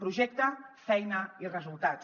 projecte feina i resultats